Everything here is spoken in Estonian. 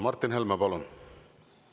Martin Helme, palun!